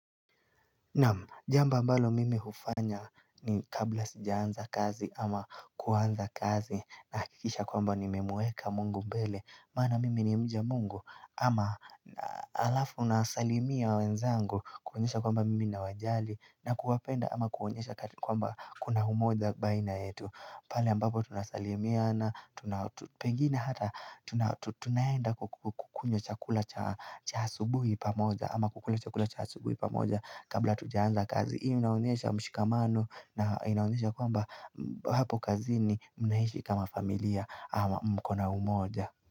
Naam, jambo ambalo mimi hufanya ni kabla sijaanza kazi ama kuanza kazi na hakikisha kwamba nimemweka mungu mbele Mana mimi ni mja mungu ama alafu unasalimia wenzangu kuonyesha kwamba mimi nawajali na kuwapenda ama kuonyesha kwamba kuna umoja baina yetu pale ambapo tunasalimiana pengene hata tunaenda kukunywa chakula cha asubuhi pamoja ama kukula chakula cha asubuhi pamoja kabla atujaanza kazi hii inaonyesha mshikamano na inaonyesha kwamba hapo kazini mnaishi kama familia ama mko na umoja.